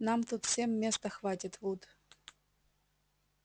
нам тут всем места хватит вуд